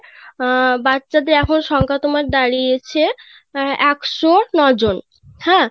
বাচ্চাদের আসল সংখ্যা তোমার দাড়িয়েছে অ্যাঁ ১০৯ জন